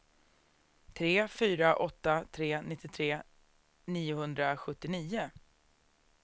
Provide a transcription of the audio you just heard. tre fyra åtta tre nittiotre niohundrasjuttionio